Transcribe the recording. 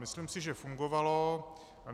Myslím si, že fungovalo.